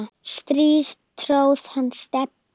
strý tróð hann Stebbi